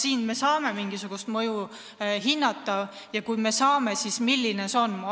Kas me saame mingil moel seda mõju hinnata ja kui saame, siis milline see on?